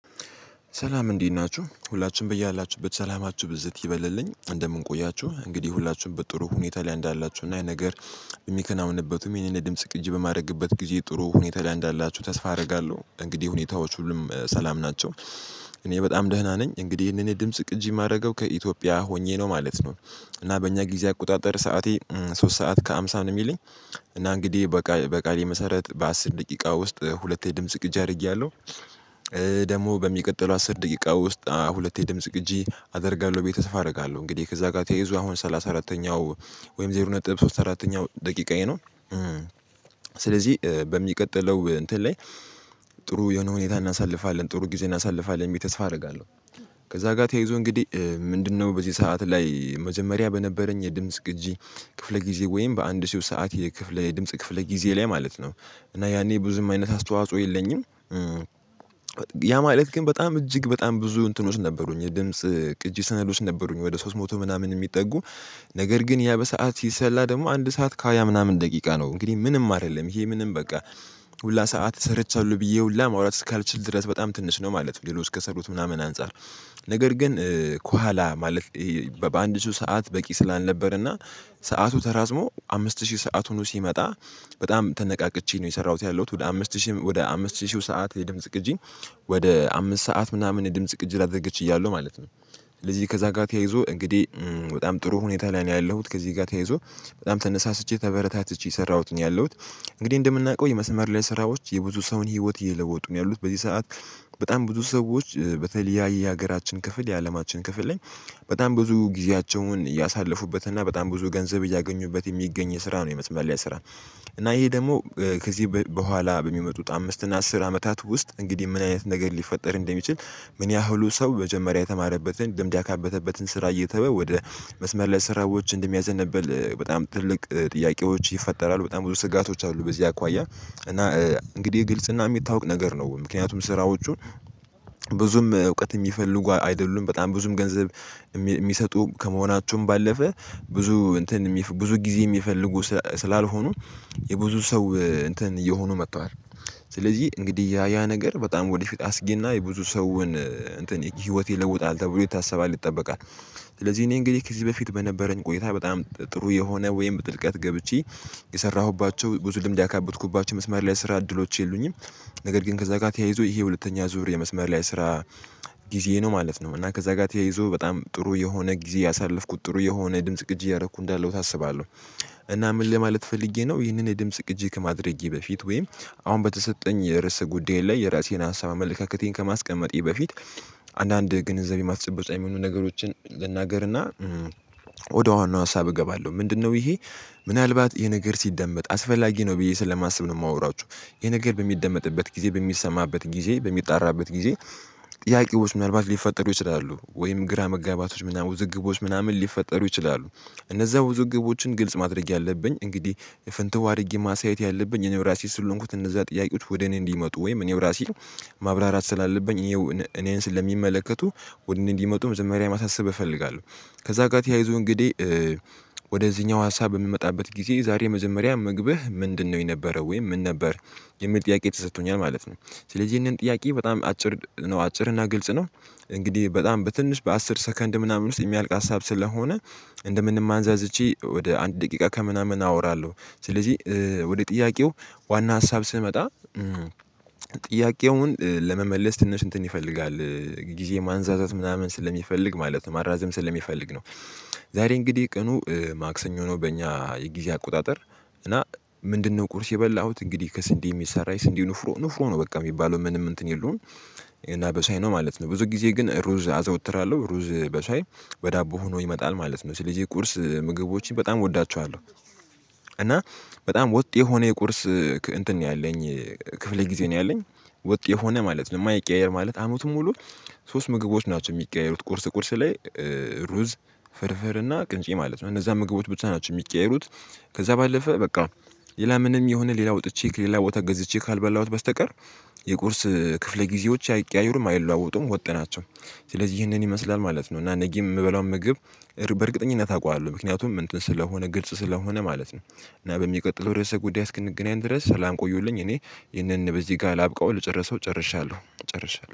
ሰላም እንዴት ናችሁ ሁላችንም በያላችሁበት ሰላማችሁ ብዝት ይበልልኝ እንደምን ቆያችሁ እንግዲህ ሁላችሁም በጥሩ ሁኔታ ላይ እንዳላችሁ እና ነገር የሚከናውንበትም ይሄንን ድምጽ ቅጂ በማድረግበት ጊዜ ጥሩ ሁኔታ ላይ እንዳላችሁ ተስፋ አደርጋለሁ እንግዲህ ሁኔታዎች ሁሉም ሰላም ናቸው። እኔ በጣም ደህና ነኝ እንግዲህ ይሄንን የድምጽ ቅጂ የማደርገው ከኢትዮጵያ ሆኜ ነው ማለት ነው። እና በእኛ ጊዜ አቆጣጠር ሰዓቴ ሶስት ሰዓት ከሃምሳ ነው የሚለኝ። እና እንግዲህ በቃ በቃሌ መሰረት በአስር ደቂቃ ውስጥ ሁለት የድምጽ ግጭ አድርጌያለሁ። ደግሞ በሚቀጥለው አስር ደቂቃ ውስጥ ሁለቴ ድምጽ ቅጂ አደርጋለሁ ቤዬ ተሰፋ አደርጋለሁ። እንግዲህ ከዛ ጋር ተያይዞ አሁን ሰላሳ አራተኛው ወይም ዜሮ ነጥብ ሶስት አራተኛው ደቂቃዬ ነው። ስለዚህ በሚቀጥለው እንትን ላይ ጥሩ የሆነ ሁኔታ እናሳልፋለን ጥሩ ጊዜ እናሳልፋለን የሚል ተስፋ አደርጋለሁ። ከዛ ጋር ተያይዞ እንግዲህ ምንድነው? በዚህ ሰዓት ላይ መጀመሪያ በነበረኝ የድምጽ ግጂ ክፍለ ጊዜ ወይም በአንድ ሺህ ሰዓት የክፍለ የድምጽ ክፍለ ጊዜ ላይ ማለት ነው እና ያኔ ብዙም አይነት አስተዋጽኦ የለኝም። ያ ማለት ግን በጣም እጅግ በጣም ብዙ እንትኖች ነበሩኝ የድምጽ ቅጂ ስነዶች ውስጥ ነበሩኝ ወደ ሶስት መቶ ምናምን የሚጠጉ። ነገር ግን ያ በሰአት ሲሰላ ደግሞ አንድ ሰዓት ካያ ምናምን ደቂቃ ነው እንግዲህ ምንም አይደለም ይሄ ምንም በቃ። ሁላ ሰዓት ሰርቻለሁ ብዬ ሁላ ማውራት እስካልችል ድረስ በጣም ትንሽ ነው ማለት ነው ሌላው እስከሰሩት ምናምን አንፃር። ነገር ግን ከኋላ ማለት በአንድ ሺህ ሰዓት በቂ ስላልነበር እና ሰዓቱ ተራዝሞ አምስት ሺህ ሰአቱን ሁኖ ሲመጣ። በጣም ተነቃቅቼ ነው የሰራሁት ያለሁት ወደ አምስት ሺህ ወደ አምስት ሺህ ሰዓት የድምጽ ቅጂኝ። ወደ አምስት ሰዓት ምናምን የድምጽ ቅጂ ላደግ ችያለሁ ማለት ነው። ስለዚህ ከዛ ጋር ተያይዞ እንግዲህ በጣም ጥሩ ሁኔታ ላይ ነው ያለሁት ከዚህ ጋር ተያይዞ በጣም ተነሳስቼ ተበረታትቼ የሰራሁትን ያለሁት። እንግዲህ እንደምናውቀው የመስመር ላይ ስራዎች የብዙ ሰውን ህይወት እየለወጡ ነው ያሉት በዚህ ሰዓት። በጣም ብዙ ሰዎች በተለያየ ሀገራችን ክፍል የአለማችን ክፍል ላይ በጣም ብዙ ጊዜያቸውን እያሳለፉበት እና በጣም ብዙ ገንዘብ እያገኙበት የሚገኝ የስራ ነው የመስመር ላያ ስራ። እና ይሄ ደግሞ ከዚህ በኋላ በሚመጡት አምስት እና አስር አመታት ውስጥ እንግዲህ ምን አይነት ነገር ሊፈጠር እንደሚችል? ምን ያህሉ ሰው መጀመሪያ የተማረበትን ልምድ ያካበተበትን ስራ እየተወ መስመር ላይ ስራዎች እንደሚያዘንብል በጣም ትልቅ ጥያቄዎች ይፈጠራሉ። በጣም ብዙ ስጋቶች አሉ። በዚህ አኳያ እና እንግዲህ ግልጽና የሚታወቅ ነገር ነው። ምክንያቱም ስራዎቹን ብዙም እውቀት የሚፈልጉ አይደሉም በጣም ብዙም ገንዘብ የሚሰጡ ከመሆናችሁም ባለፈ ብዙ እንትን ብዙ ጊዜ የሚፈልጉ ስላልሆኑ የብዙ ሰው እንትን እየሆኑ መቷል። ስለዚህ እንግዲህ ያ ያ ነገር በጣም ወደፊት አስጊና የብዙ ሰውን እንትን ህይወት ይለውጣል ተብሎ ይታሰባል ይጠበቃል። ስለዚህ እኔ እንግዲህ ከዚህ በፊት በነበረኝ ቆይታ በጣም ጥሩ የሆነ ወይም ጥልቀት ገብቼ የሰራሁባቸው ብዙ ልምድ ያካበትኩባቸው መስማር ላይ ስራ እድሎች የሉኝም። ነገር ግን ከዛ ጋር ተያይዞ ይሄ ሁለተኛ ዙር የመስመር ላይ ስራ። ጊዜ ነው ማለት ነው እና ከዛ ጋር ተያይዞ በጣም ጥሩ የሆነ ጊዜ ያሳለፍኩት ጥሩ የሆነ ድምጽ ቅጅ እያረኩ እንዳለው አስባለሁ። እና ምን ለማለት ፈልጌ ነው ይህንን የድምጽ ቅጂ ከማድረጌ በፊት ወይም አሁን በተሰጠኝ የርስ ጉዳይ ላይ የራሴን አሳብ አመለካከቴን ከማስቀመጤ በፊት። አንዳንድ ግንዛቤ የማስጨበጫ የሚሆኑ ነገሮችን ልናገርና። ወደ ዋናው ሀሳብ እገባለሁ ምንድነው? ይሄ ምናልባት ይሄ ነገር ሲደመጥ አስፈላጊ ነው ብዬ ስለማስብ ነው የማወራችሁ። ይህ ነገር በሚደመጥበት ጊዜ በሚሰማበት ጊዜ በሚጣራበት ጊዜ ጥያቄዎች ምናልባት ሊፈጠሩ ይችላሉ ወይም ግራ መጋባቶች ምናምን ውዝግቦች ምናምን ሊፈጠሩ ይችላሉ። እነዛ ውዝግቦችን ግልጽ ማድረግ ያለብኝ እንግዲህ ፈንትው አድርጌ ማሳየት ያለብኝ እኔው ራሴ ስለሆንኩት እነዛ ጥያቄዎች ወደ እኔ እንዲመጡ ወይም እኔው ራሴ ማብራራት ስላለብኝ። እኔን ስለሚመለከቱ ወደኔ እንዲመጡ መጀመርያ ማሳሰብ እፈልጋለሁ። ከዛ ጋር ተያይዞ እንግዲህ ወደዚህኛው ሀሳብ የምመጣበት ጊዜ ዛሬ መጀመሪያ ምግብህ ምንድነው? የነበረው ወይም ምን ነበር የሚል ጥያቄ ተሰጥቶኛል ማለት ነው። ስለዚህ ይህንን ጥያቄ በጣም አጭር ነው አጭር እና ግልጽ ነው። እንግዲህ በጣም በትንሽ በአስር ሰከንድ ምናምን ውስጥ የሚያልቅ ሀሳብ ስለሆነ እንደምንም አንዛዝቼ ወደ አንድ ደቂቃ ከምናምን አወራለሁ። ስለዚህ ወደ ጥያቄው ዋና ሀሳብ ስመጣ። ጥያቄውን ለመመለስ ትንሽ እንትን ይፈልጋል። ጊዜ ማንዛዘት ምናምን ስለሚፈልግ ማለት ነው ማራዘም ስለሚፈልግ ነው። ዛሬ እንግዲህ ቀኑ ማክሰኞ ነው በእኛ የጊዜ አቆጣጠር። እና ምንድነው? ቁርስ የበላሁት እንግዲህ ከስንዴ የሚሰራ ስንዴ ንፍሮ ንፍሮ ነው በቃ የሚባለው ምንም እንትን የለውም። እና በሻይ ነው ማለት ነው። ብዙ ጊዜ ግን እሩዝ አዘወትራለሁ ሩዝ በሻይ በዳቦ ሆኖ ይመጣል ማለት ነው ስለዚህ ቁርስ ምግቦችን በጣም እወዳቸዋለሁ። እና በጣም ወጥ የሆነ የቁርስ እንትን ነው ያለኝ። ክፍለ ጊዜ ነው ያለኝ ወጥ የሆነ ማለት ነው የማይቀያየር ማለት አመቱን ሙሉ። ሶስት ምግቦች ናቸው የሚቀያየሩት ቁርስ ቁርስ ላይ። ሩዝ ፍርፍር እና ቅንጬ ማለት ነው እነዛ ምግቦች ብቻ ናቸው የሚቀያየሩት። ከዛ ባለፈ በቃ። ሌላ ምንም የሆነ ሌላ ወጥቼ ከሌላ ቦታ ገዝቼ ካልበላሁት በስተቀር የቁርስ ክፍለ ጊዜዎች አይቀያይሩም አይለዋወጡም ወጥ ናቸው። ስለዚህ ይህንን ይመስላል ማለት ነው። እና ነጊም የምበላውን ምግብ በእርግጠኝነት አውቃለሁ ምክንያቱም እንትን ስለሆነ ግልጽ ስለሆነ ማለት ነው። እና በሚቀጥለው ርዕሰ ጉዳይ እስክንገናኝ ድረስ ሰላም ቆዩልኝ እኔ ይህንን በዚህ ጋር ላብቀው ልጨርሰው ጨርሻለሁ ጨርሻለሁ